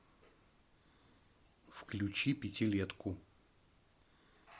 включи пятилетку